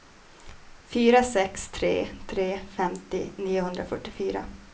fyra sex tre tre femtio niohundrafyrtiofyra